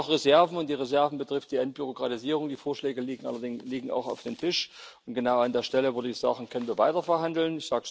Wir haben noch Reserven, und die Reserven betreffen die Entbürokratisierung, die Vorschläge liegen auch auf dem Tisch, und genau an der Stelle, würde ich sagen, können wir weiter verhandeln.